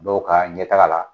Dɔw ka ɲɛ taga la